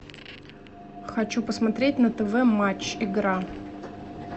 хочу посмотреть на тв матч игра